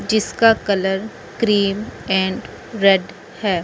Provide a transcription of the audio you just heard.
जिसका colour cream and red है।